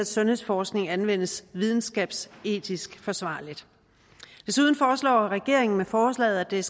sundhedsforskning anvendes videnskabsetisk forsvarligt desuden foreslår regeringen med forslaget at der